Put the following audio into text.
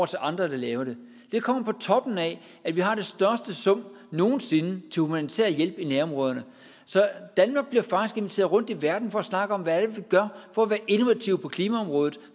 til andre der laver det det kommer på toppen af at vi har den største sum nogen sinde til humanitær hjælp i nærområderne så danmark bliver faktisk inviteret rundt i verden for at snakke om hvad det er vi gør for at være innovative på klimaområdet